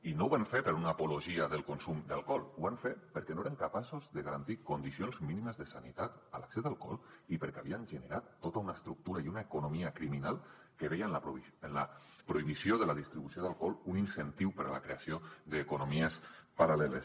i no ho van fer per una apologia del consum d’alcohol ho van fer perquè no eren capaços de garantir condicions mínimes de sanitat en l’accés a l’alcohol i perquè havien generat tota una estructura i una economia criminal que veien en la prohibició de la distribució d’alcohol un incentiu per a la creació d’economies paral·leles